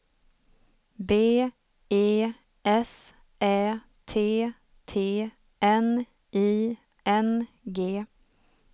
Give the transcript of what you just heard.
B E S Ä T T N I N G